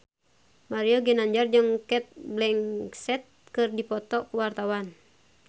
Mario Ginanjar jeung Cate Blanchett keur dipoto ku wartawan